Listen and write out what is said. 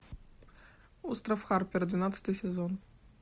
остров харпера двенадцатый сезон